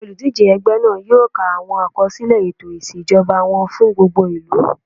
Àwọn olùdíjé ẹgbẹ́ náà yóò ka àwọn àkọsílẹ̀ ètò ìṣèjọba wọn fún gbogbo ìlú